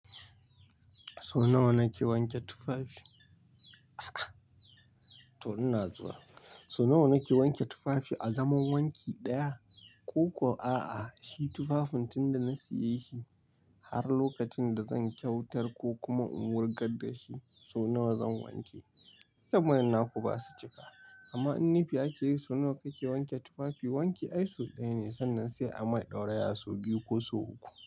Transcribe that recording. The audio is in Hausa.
So nawa nake wanke tufafi? To ina zuwa. So nawa nake wanke tufafi, a zaman wanki daya ko kuwa a'a, shi tufafin tunda na saya shi har lokacin da zan kyautar ko kuma in wurgar da shi so nawa zan wanke. Tambayan naku basu cika amma in nifi ake yi so nawa kake wanke tufafi, wanki ai sau daya ne sannan sai a mai ɗauraya so biyu ko so uku.